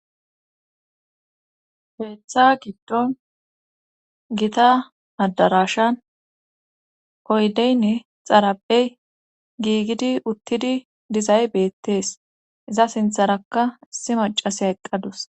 Keeththa giddon gita adarashan koydeynne xarapey giigidi uttidi dizay beettees iza sintharaka issi macasiya eqqadus